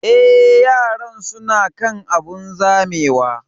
Eh, yaran su na kan abun zamewa